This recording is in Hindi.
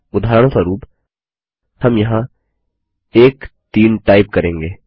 उदाहरणस्वरूप हम यहाँ 1 3 टाइप करेंगे